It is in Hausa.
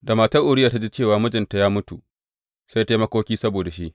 Da matar Uriya ta ji cewa mijinta ya mutu, sai ta yi makoki saboda shi.